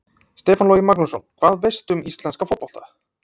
Stefán Logi Magnússon Hvað veistu um íslenska fótbolta?